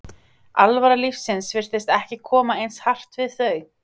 alvara lífsins virtist ekki koma eins hart við þau.